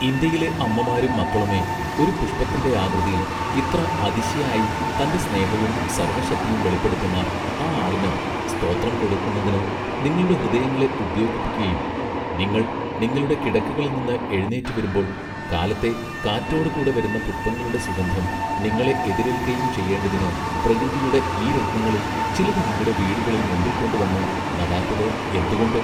ഇന്ത്യയിലെ അമ്മമാരും മക്കളുമെ ഒരു പുഷ്പത്തിന്റെ ആകൃതിയിൽ ഇത്ര അതിശയായി തന്റെ സ്നേഹവും സർവ്വശക്തിയും വെളിപ്പെടുത്തുന്ന ആ ആളിന് സ്തോത്രം കൊടുക്കുന്നതിന് നിങ്ങളുടെ ഹൃദയങ്ങളെ ഉദ്യൊഗിപ്പിക്കയും നിങ്ങൾ നിങ്ങളുടെ കിടക്കകളിൽനിന്ന് എഴുനീറ്റ് വരുമ്പോൾ കാലത്തെ കാറ്റൊടു കൂടെ വരുന്ന പുഷ്പങ്ങളുടെ സുഗന്ധം നിങ്ങളെ എതിരേല്ക്കയും ചെയ്യെണ്ടതിന് പ്രകൃതിയുടെ ഈ രത്നങ്ങളിൽ ചിലത് നിങ്ങളുടെ വീടുകളുടെ മുമ്പിൽകൊണ്ട് വന്ന് നടാത്തത് എന്തുകൊണ്ട്?